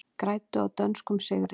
Græddu á dönskum sigri